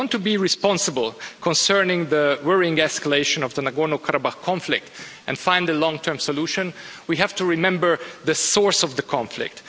If we want to be responsible concerning the worrying escalation of the Nagorno-Karabakh conflict, and find a long-term solution, we have to remember the source of the conflict.